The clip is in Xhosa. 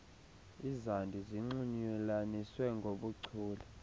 izandi zinxulunyaniswe ngoohuchule